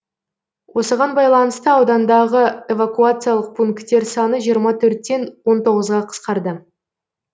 осыған байланысты аудандағы эвакуациялық пункттер саны жиырма төрттен он тоғызға қысқарды